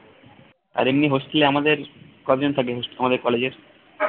আর এমনি hostel এ আমাদের কয়জন থাকে আমাদের college এর